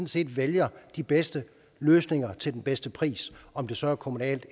set vælger de bedste løsninger til den bedste pris om det så er kommunalt